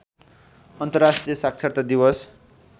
अन्तर्राष्ट्रिय साक्षरता दिवस